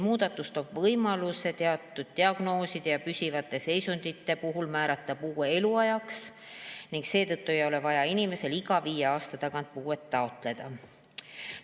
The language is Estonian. Muudatus loob võimaluse teatud diagnooside ja püsivate seisundite puhul määrata puue eluajaks ning seetõttu ei ole vaja inimesele iga viie aasta tagant puuet taotleda.